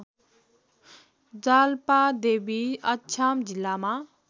जाल्पादेवी अछाम जिल्लामा